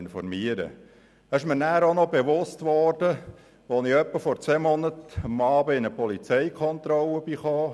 Das wurde mir auch bewusst, als ich vor circa zwei Monaten am Abend in eine Polizeikontrolle geriet.